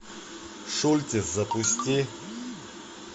шультес запусти